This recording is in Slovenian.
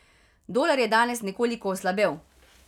Dolar je danes nekoliko oslabel.